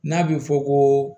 N'a bɛ fɔ ko